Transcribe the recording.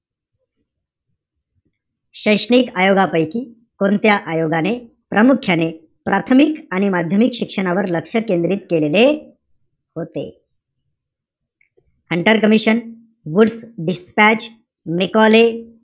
शैक्षणिक आयोगापैकी कोणत्या आयोगाने प्रामुख्याने प्रथामुक आणि माध्यमिक शिक्षणावर लक्ष केंद्रित केलेले होते? Hunter commission, Wood dispatch, Macaulay,